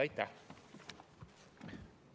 Aitäh!